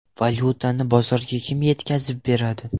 Valyutani bozorga kim yetkazib beradi?